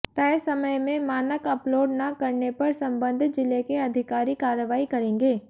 तय समय में मानक अपलोड न करने पर संबंधित जिले के अधिकारी कार्रवाई करेंगे